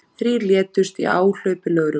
Þrír létust í áhlaupi lögreglu